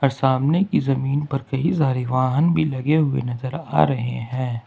सामने की जमीन पर कई सारे वाहन भी लगे हुए नजर आ रहे हैं।